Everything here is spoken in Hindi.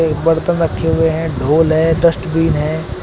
बर्तन रखे हुए है ढोल है डस्टबिन है।